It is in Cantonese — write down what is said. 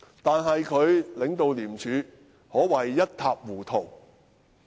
但是，他領導廉署可謂一塌糊塗。